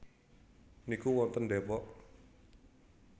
niku wonten Depok?